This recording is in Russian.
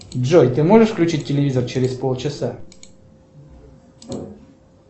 джой ты можешь включить телевизор через полчаса